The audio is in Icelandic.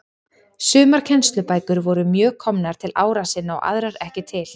Sumar kennslubækur voru mjög komnar til ára sinna og aðrar ekki til.